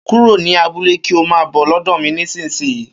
kúrò ní abúlé kí ọ maa bọ̀ lódò mí nísìsiyìí